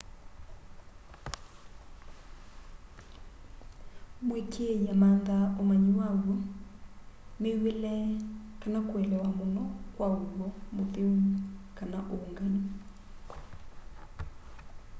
mũĩkĩi amanthaa ũmanyĩ waw'o mĩw'ĩle kana kũelewa mũno kwa ũw'o mũtheũ/ũngaĩ